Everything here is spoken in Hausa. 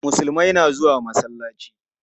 Musulmai na zuwa masallaci.